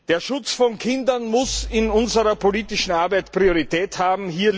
Der Schutz von Kindern muss in unserer politischen Arbeit Priorität haben.